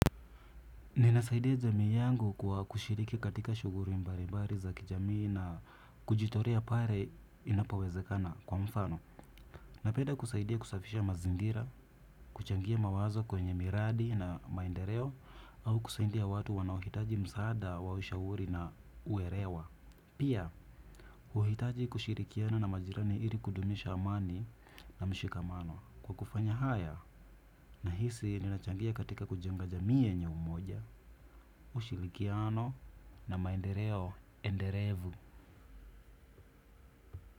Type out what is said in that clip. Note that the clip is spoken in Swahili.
Ninasaidia jamii yangu kwa kushiriki katika shughuli mbalibali za kijamii na kujitolea pale inapowezekana kwa mfano. Napenda kusaidia kusafisha mazingira, kuchangia mawazo kwenye miradi na maendeleo au kusaidia watu wanaohitaji msaada wa ushauri na uelewa. Pia, uhitaji kushirikiana na majirani ili kudumisha amani na mshikamano. Kwa kufanya haya nahisi ninachangia katika kujenga jamii yenye umoja. Ushirikiano na maendeleo endelevu.